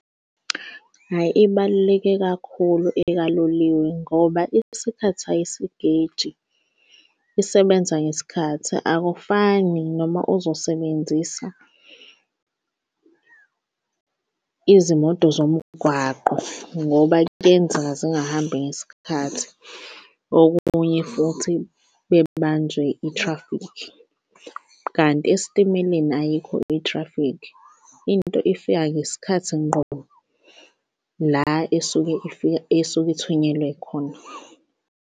Hhayi, ibaluleke kakhulu ekaloliwe ngoba isikhathi ayisigeji isebenza ngesikhathi akufani noma uzosebenzisa izimoto zomgwaqo ngoba kuyenzeka zingahambi ngesikhathi. Okunye futhi bebanjwe i-traffic, kanti esitimeleni ayikho i-traffic into ifika ngesikhathi ngqo la isuke ifika esuke ithunyelwe khona.